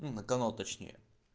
ну на канал точнее